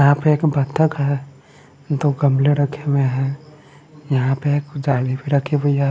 यहां पे एक बतख है दो गमले रखे हुए हैं यहां पे एक जाली भी रखी हुई है।